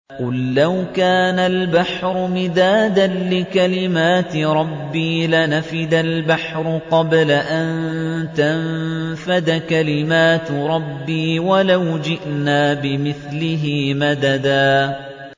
قُل لَّوْ كَانَ الْبَحْرُ مِدَادًا لِّكَلِمَاتِ رَبِّي لَنَفِدَ الْبَحْرُ قَبْلَ أَن تَنفَدَ كَلِمَاتُ رَبِّي وَلَوْ جِئْنَا بِمِثْلِهِ مَدَدًا